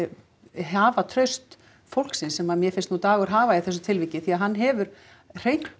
hafa traust fólksins sem mér finnst nú Dagur hafa í þessu tilviki því hann hefur hreint